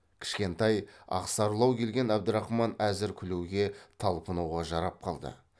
кішкентай ақсарылау келген әбдірахман әзір күлуге талпынуға жарап қалды